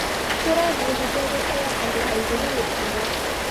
Tũrebundithia gũtĩa andũ angĩ na mĩtugo.